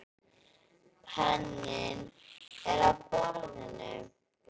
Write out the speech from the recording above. Penninn er á borðinu.